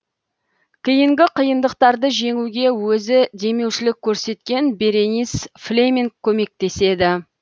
кейінгі қиындықтарды жеңуге өзі демеушілік көрсеткен беренис флеминг көмектеседі